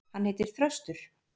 Hann heitir Þröstur.